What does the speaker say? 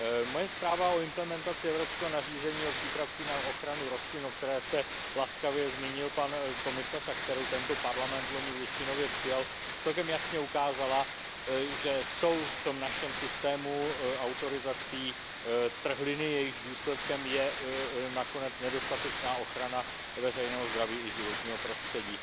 Moje zpráva o implementaci evropského nařízení o přípravcích na ochranu rostlin, o které se laskavě zmínil pan komisař a kterou tento parlament vloni většinově přijal, celkem jasně ukázala, že jsou v tom našem systému autorizací trhliny, jejichž důsledkem je nakonec nedostatečná ochrana veřejného zdraví i životního prostředí.